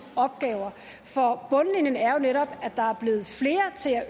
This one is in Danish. opgaver for bundlinjen er jo netop